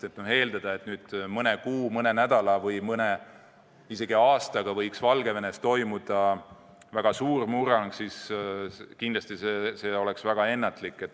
Eeldada, et nüüd mõne nädala, mõne kuu või isegi mõne aastaga võiks Valgevenes toimuda väga suur murrang, oleks väga ennatlik.